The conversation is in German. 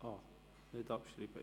Ach so, nicht abschreiben!